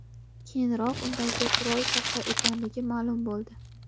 Keyinroq, undagi qurol soxta ekanligi ma’lum bo‘ldi.